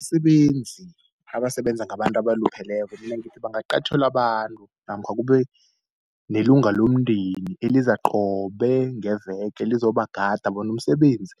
Abasebenzi, abasebenza ngabantu abalupheleko mina ngithi bangaqatjhelwa abantu namkha kube nelunga lomndeni eliza qobe ngeveke, lizobagada bona umsebenzi